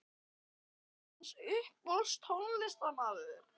hver er hans uppáhalds tónlistarmaður?